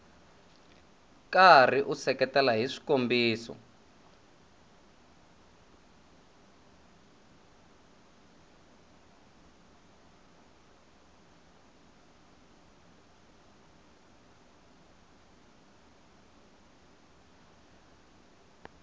karhi u seketela hi swikombiso